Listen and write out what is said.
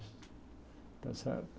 Está certo?